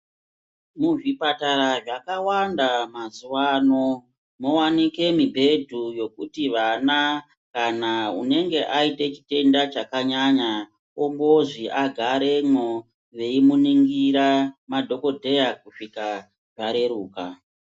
Muzvipatara zvakawanda mazuva ano mowanikwa mubhedhu wekuti vana kana unenge aita chitenda chakanyanya ongozi agaremo eimuningirira madhokodheya kusvika zvareruka.